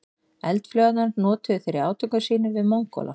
Eldflaugarnar notuðu þeir í átökum sínum við Mongóla.